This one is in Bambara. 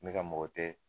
Ne ka mɔgɔ tɛ